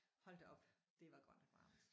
Hold da op det var godt nok varmt